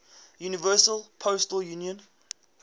universal postal union